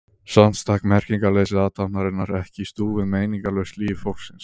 Samt stakk merkingarleysi athafnarinnar ekki í stúf við meiningarlaust líf fólksins.